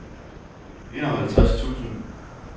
enoghalvtreds tusind